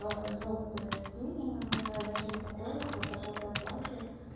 жёлтая тени на глаза или что-то такое типа под жёлтое платье